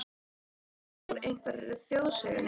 Hlaut að vera úr einhverri þjóðsögunni.